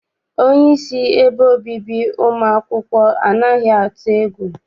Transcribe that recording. Onyeisi ebe obibi ụmụ akwụkwọ anaghị atụ egwu.